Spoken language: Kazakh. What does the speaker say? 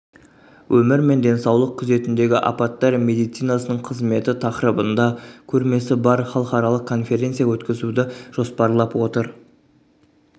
өмір мен денсаулық күзетіндегі апаттар медицинасының қызметі тақырыбында көрмесі бар халықаралық конференция өткізуді жоспарлап отыр